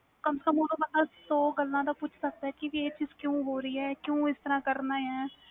confirm ਬੰਦਾ ਸੋ ਗੱਲਾਂ ਪੁੱਛ ਸਕਦਾ ਵ ਕਿ ਕਰਨਾ ਵ ਕਿਊ ਕਰਨਾ ਵ